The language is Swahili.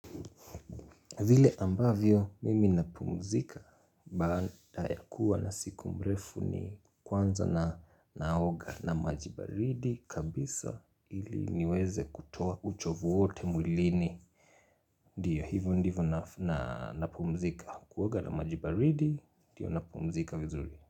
Vile ambavyo mimi napumzika baada ya kuwa na siku mrefu ni kwanza na, naoga na maji baridi kabisa ili niweze kutoa uchovu wote mwilini. Ndiyo, hivo ndivyo na, napumzika kuoga na maji baridi ndiyo napumzika vizuri.